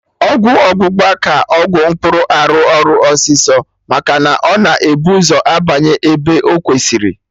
Ọgwụ ọgbụgba ka Ọgwụ mkpụrụ arụ ọrụ ọsịsọ maka na ọ na-ebu ụzọ abanye ebe ọ kwesịrị